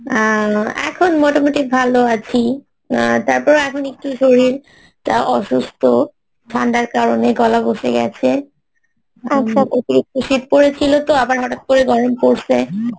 আহ এখন মোটামুটি ভালো আছি আহ তারপর এখন একটু শরীরটা অসুস্থ ঠান্ডার কারণে গলা বসে গেছে শীত পড়েছিল তো আবার হঠাত করে গরম পরসে